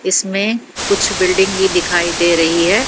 इसमें कुछ बिल्डिंग भी दिखाई दे रही है।